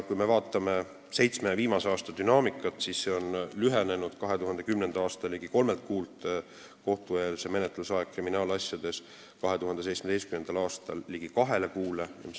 Vaatame viimase seitsme aasta dünaamikat: kriminaalasjade kohtueelse menetluse aeg oli 2010. aasta ligi kolme kuu asemel 2017. aastal ligi kaks kuud.